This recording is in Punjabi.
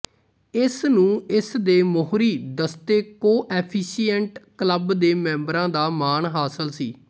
ਇਸਨੂੰ ਇਸਦੇ ਮੋਹਰੀ ਦਸਤੇ ਕੋਐਫੀਸੀਐਂਟ ਕਲੱਬ ਦੇ ਮੈਂਬਰਾਂ ਦਾ ਮਾਣ ਹਾਸਲ ਸੀ